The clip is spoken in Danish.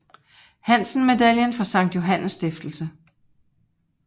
Hansen Medaillen for Sankt Johannes Stiftelse